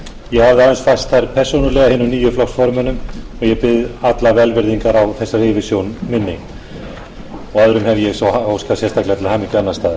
ég hafði aðeins fært þær persónulega hinum nýju flokksformönnum og ég bið alla velvirðingar á þessari yfirsjón minni öðrum hef ég svo óskað sérstaklega til hamingju annars staðar